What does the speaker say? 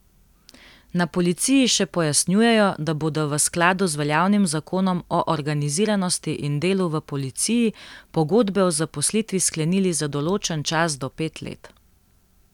Na policiji še pojasnjujejo, da bodo v skladu z veljavnim zakonom o organiziranosti in delu v policiji pogodbe o zaposlitvi sklenili za določen čas do pet let.